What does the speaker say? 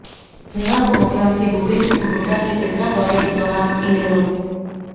शनिवार को मुख्यमंत्री भूपेंद्र सिंह हुड्डा के सिरसा दौरे के दौरान इनेलो